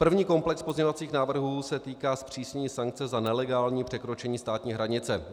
První komplex pozměňovacích návrhů se týká zpřísnění sankce za nelegální překročení státní hranice.